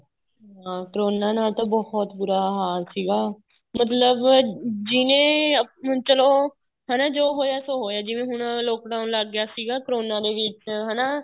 ਹਾਂ ਕਰੋਨਾ ਨਾਲ ਬਹੁਤ ਬੂਰਾ ਹਾਲ ਸੀਗਾ ਮਤਲਬ ਜਿਹਨੇ ਚਲੋ ਹਨਾ ਜੋ ਹੋਇਆ ਸੋ ਹੋਇਆ ਜਿਵੇਂ ਹੁਣ Lock down ਲੱਗ ਗਿਆ ਸੀਗਾ ਕਰੋਨਾ ਦੇ ਵਿੱਚ ਹਨਾ